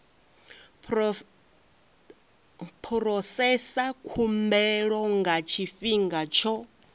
phurosesa khumbelo nga tshifhinga tsho